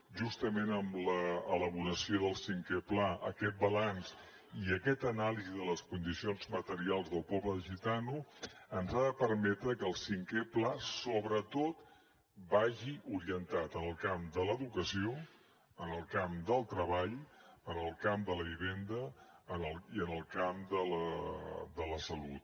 justament amb l’elaboració del cinquè pla aquest balanç i aquesta anàlisi de les condicions materials del poble gitano ens ha de permetre que el cinquè pla sobretot vagi orientat en el camp de l’educació en el camp del treball en el camp de la vivenda i en el camp de la salut